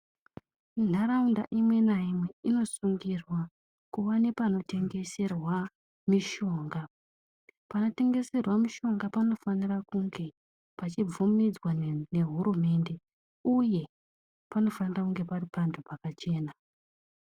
Nharaunda imwe naimwe inosungirwa kuva nepanotengeserwa mishonga. Panotengeserwa mishonga panofanira kunge pachibvumidzwa nehurumende uye panofana kunge pari panhu pakachena.